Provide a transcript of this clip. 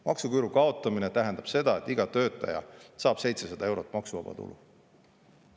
Maksuküüru kaotamine tähendab seda, et iga töötaja saab 700 eurot maksuvaba tulu.